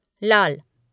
लाल